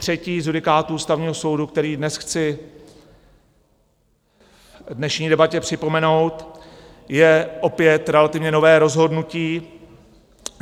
Třetí z judikátů Ústavního soudu, který dnes chci v dnešní debatě připomenout, je opět relativně nové rozhodnutí.